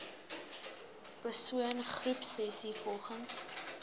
persoon groepsessies volgens